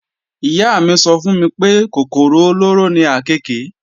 Ìyá mí sọ fún mi pé kòkòrò olóró ni àkééke